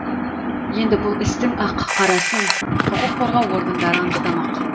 енді бұл істің ақ қарасын құқық қорғау органдары анықтамақ